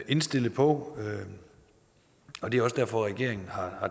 indstillet på og det er også derfor at regeringen har